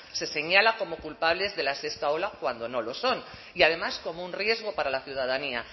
se señala como culpables de la sexta ola cuando no lo son y además como un riesgo para la ciudadanía